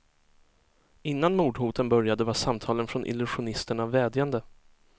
Innan mordhoten började var samtalen från illusionisterna vädjande.